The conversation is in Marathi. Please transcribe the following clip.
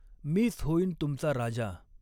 मीच हॊईन तुमचा राजा.